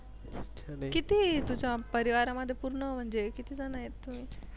किती तुझ्या परिवारामध्ये पूर्ण म्हणजे किती जण आहेत?